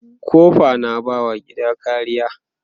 kofa na ba wa gida kariya